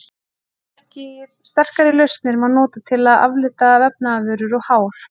sterkari lausnir má nota til að aflita vefnaðarvörur og hár